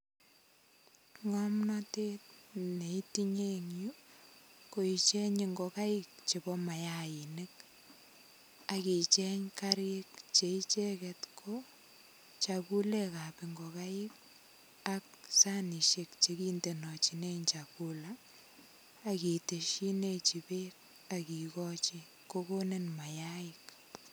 Ng'omnatet ne itinye ing yuu, ko icheng ngokaik chebo mayainik. Akicheng karik che icheket ko chakulekap ngokaik, ak sanisiek chekindenochinen chakula. Akiteshinetin beek, akikochi. Kokonin mayaik.